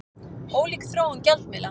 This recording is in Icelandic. Ólík þróun gjaldmiðla